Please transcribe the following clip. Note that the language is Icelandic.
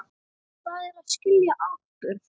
Hvað er að skilja atburð?